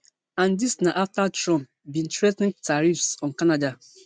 and dis na afta trump bin threa ten tariffs on canada